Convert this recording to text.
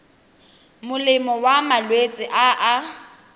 molemo wa malwetse a a